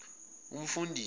umfundisi